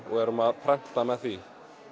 og erum að prenta með því